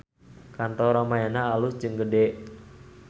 Kantor Ramayana alus jeung gede